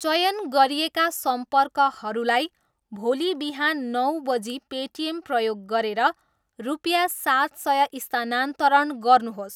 चयन गरिएका सम्पर्कहरूलाई भोलि बिहान नौ बजी पेटिएम प्रयोग गरेर रुपियाँ सात सय स्थानान्तरण गर्नुहोस्।